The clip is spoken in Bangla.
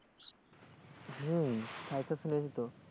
হম তাইতো শুনেছি তো,